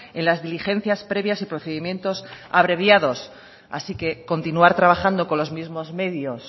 en las diligencias previas y procedimientos abreviados así que continuar trabajando con los mismos medios